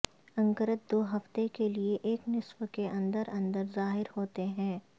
انکرت دو ہفتے کے لئے ایک نصف کے اندر اندر ظاہر ہوتے ہیں